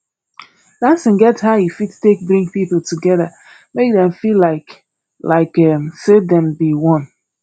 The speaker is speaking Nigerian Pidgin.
dancing get how e fit take bring pipo together make dem feel like like um sey dem be one